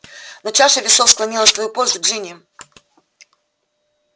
но чаша весов склонилась в твою пользу джинни